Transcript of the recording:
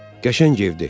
Qəşəng evdir.